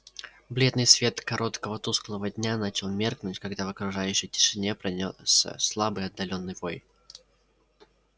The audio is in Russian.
бледный свет короткого тусклого дня начал меркнуть когда в окружающей тишине пронёсся слабый отдалённый вой